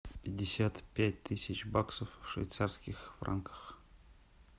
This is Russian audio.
пятьдесят пять тысяч баксов в швейцарских франках